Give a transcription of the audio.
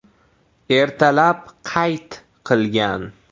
Ertalab qayt qilgan.